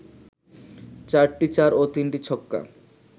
৪টি চার ও ৩টি ছক্কা